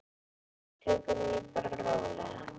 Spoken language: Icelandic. Tökum því bara rólega.